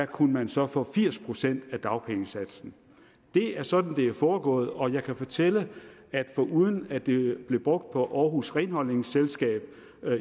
kunne man så få firs procent af dagpengesatsen det er sådan det er foregået og jeg kan fortælle at foruden at det blev brugt på aarhus renholdningsselskab